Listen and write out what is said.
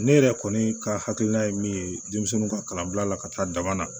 Ne yɛrɛ kɔni ka hakilina ye min ye denmisɛnninw ka kalanbila la ka taa dama na